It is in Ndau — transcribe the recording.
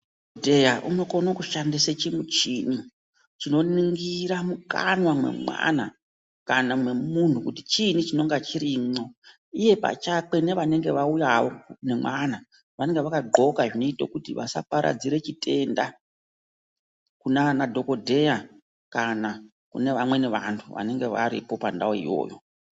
Dhokodheya unokone kushandise chimuchini chinoningira mukanwa mwemwana kana mwemunhu, kuti chiinyi chinonga chirimwo iye pachakwe nevanenge vauyawo nemwana vanege vakadhloka zvinoite kuti vasaparidzire chitenda kunaana dhokhodheya, kana kune vamweni vanhu vanenge varipo apandauyo iyoyo.